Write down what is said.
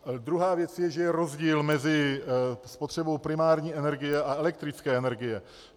Druhá věc je, že je rozdíl mezi spotřebou primární energie a elektrické energie.